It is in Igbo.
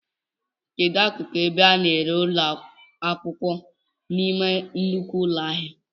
Kedụ ákụkụ ebe a na-ere akwụkwọ n'ime nnukwu ụlọ ahịa?